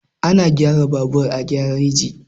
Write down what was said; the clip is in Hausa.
Ana gyara babur a gareji.